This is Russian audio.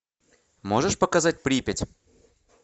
можешь показать припять